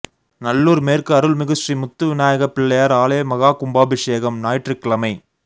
நல்லூர் மேற்கு அருள்மிகு ஸ்ரீ முத்துவிநாயகப் பிள்ளையார் ஆலய மகா கும்பாபிஷேகம் ஞாயிற்றுக்கிழமை